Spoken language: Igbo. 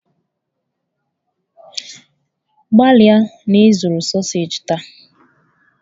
Gbalịa na ị zụrụ sausaji taa!